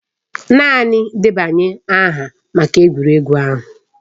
Naanị debanye aha maka egwuregwu ahụ.